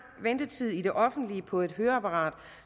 ventetid i det offentlige på et høreapparat